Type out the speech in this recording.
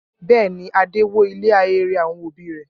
Bẹ́ẹ̀ ni, Adé wó ilé ahéré àwọn òbí rẹ̀.